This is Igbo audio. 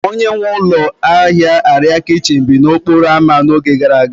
Onye nwe ụlọ ahịa arịa kichin bi n'okporo ámá n'oge gara aga